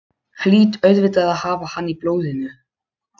Hlýt auðvitað að hafa hann í blóðinu.